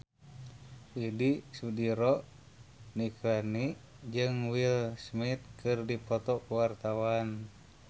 Widy Soediro Nichlany jeung Will Smith keur dipoto ku wartawan